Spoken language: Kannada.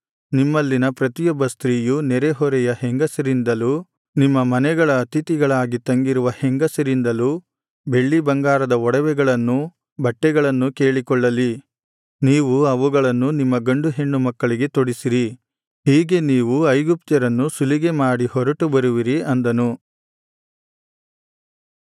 ನಿಮ್ಮಲ್ಲಿನ ಪ್ರತಿಯೊಬ್ಬ ಸ್ತ್ರೀಯು ನೆರೆಹೊರೆಯ ಹೆಂಗಸರಿಂದಲೂ ನಿಮ್ಮ ಮನೆಗಳ ಅತಿಥಿಗಳಾಗಿ ತಂಗಿರುವ ಹೆಂಗಸರಿಂದಲೂ ಬೆಳ್ಳಿ ಬಂಗಾರದ ಒಡವೆಗಳನ್ನೂ ಬಟ್ಟೆಗಳನ್ನೂ ಕೇಳಿಕೊಳ್ಳಲಿ ನೀವು ಅವುಗಳನ್ನು ನಿಮ್ಮ ಗಂಡು ಹೆಣ್ಣು ಮಕ್ಕಳಿಗೆ ತೊಡಿಸಿರಿ ಹೀಗೆ ನೀವು ಐಗುಪ್ತ್ಯರನ್ನು ಸುಲಿಗೆ ಮಾಡಿಹೊರಟು ಬರುವಿರಿ ಅಂದನು